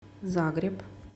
загреб